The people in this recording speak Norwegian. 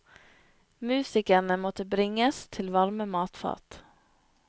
Musikerne måtte bringes til varme matfat.